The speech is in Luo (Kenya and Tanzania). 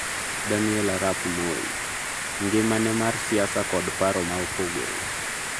Daniel Arap Moi: ngimane mar siasa kod paro ma opogore